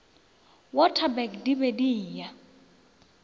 waterberg di be di eya